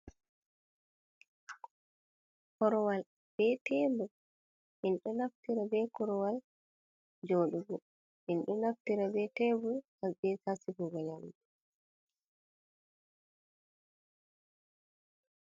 korowal be tebur min ɗo naftira be korowal jodugo min ɗo naftira be tebur be ha sigugo nyamdu.